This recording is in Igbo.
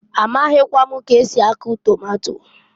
A maghịkwa m k'esi akụ tomato.